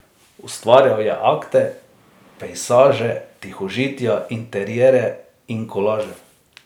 Ustvarjal je akte, pejsaže, tihožitja, interierje in kolaže.